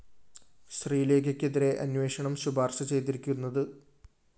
ശ്രീലേഖയ്‌ക്കെതിരെ അന്വേഷണം ശുപാര്‍ശ ചെയ്തിരിക്കുന്നത്